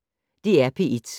DR P1